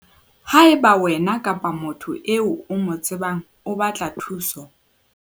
Haeba wena kapa motho eo o mo tsebang a batla thuso,